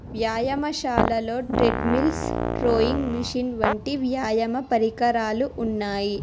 వ్యాయామశాలలో treadmills rowing machine వంటి వ్యాయామ పరికరాలు ఉన్నాయి.